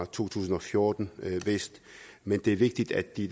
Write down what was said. to tusind og fjorten men det er vigtigt at de